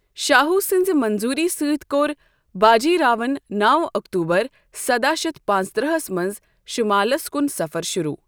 شاہو سٕنٛزِ منٛظوٗری سۭتۍ کوٚر باجی راوَن نو اکتوٗبر سداہ شتھ پانٛژترٕہس منٛز شُمالس کن سفر شُروٗع۔